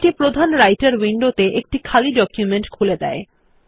এটি প্রধান রাইটের উইন্ডোতে একটি খালি ডকুমেন্ট খুলে দেয়